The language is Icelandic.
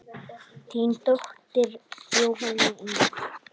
Hneta Rós.